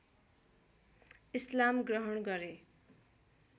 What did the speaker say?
इस्लाम ग्रहण गरे